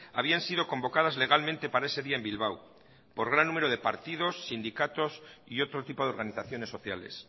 habían sido convocadas legalmente para ese día en bilbao por gran número de partidos sindicatos y otro tipo de organizaciones sociales